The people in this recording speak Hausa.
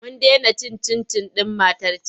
Mun dena cin cin-cin ɗin matar can.